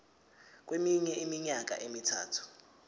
kweminye iminyaka emithathu